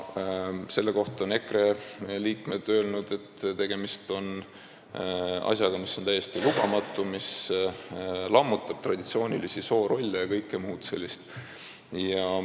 Selle kohta on EKRE liikmed öelnud, et tegemist on täiesti lubamatu asjaga, mis lammutab traditsioonilisi soorolle ja kõike muud sellist.